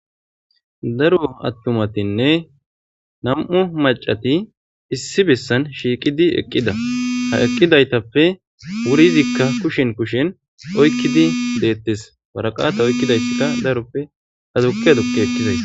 Daro atummatine nam'u macati issi besan shiqidi eqida ha eqidayitape wurizika kushe kushen oyikidi detes woraqata oyikizaysika darope azuqi azuqi ekizayisa.